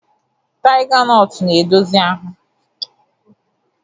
Taiga nọtu na-edozi ahụ.